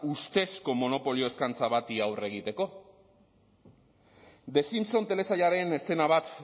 ustezko monopolio eskaintza bati aurre egiteko the simpson telesailaren eszena bat